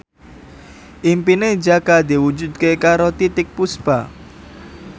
impine Jaka diwujudke karo Titiek Puspa